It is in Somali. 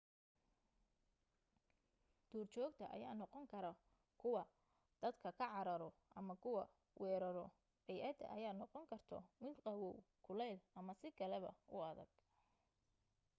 duurjoogta ayaa noqon karo kuwa dadka ka cararo ama kuwa weeraro bay'adda ayaa noqon karto mid qawow kuleyl ama si kale ba u adag